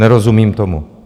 Nerozumím tomu.